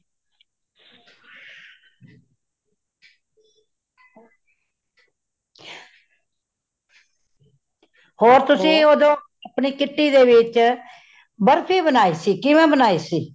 ਹੋਰ ਤੁਸੀਂ ਓਧੋ ਅਪਣੀ kitty ਦੇ ਵਿੱਚ, ਬਰਫ਼ੀ ਬਨਾਇ ਸੀ ਕਿਵੇਂ ਬਨਾਈ ਸੀ